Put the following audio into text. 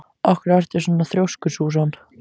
Af hverju ertu svona þrjóskur, Súsan?